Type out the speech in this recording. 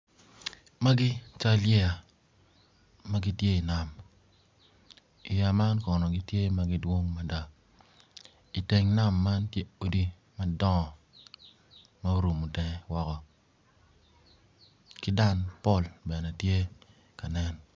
Magi cal yeya magitye i nam yeya man kono gitye magidwong mada iteng nam man tye odi madongo ma orungo tenge woko kidang pol bene kanen.